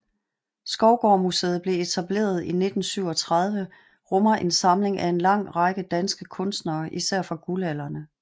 Skovgaard Museet blev etableret i 1937 rummer en samling af en lang række danske kunstnere især fra guldalderen